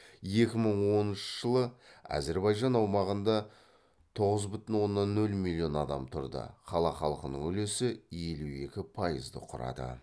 екі мың оныншы жылы әзірбайжан аумағында тоғыз бүтін оннан нөл миллион адам тұрды қала халқының үлесі елу екі пайызды құрады